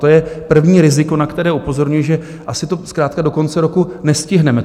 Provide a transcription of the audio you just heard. To je první riziko, na které upozorňuji, že asi to zkrátka do konce roku nestihneme.